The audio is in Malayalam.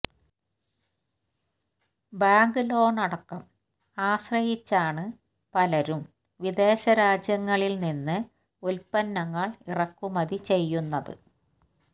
ബാങ്ക് ലോൺ അടക്കം ആശ്രയിച്ചാണ് പലരും വിദേശ രാജ്യങ്ങളിൽനിന്ന് ഉത്പന്നങ്ങൾ ഇറക്കുമതി ചെയ്യുന്നത്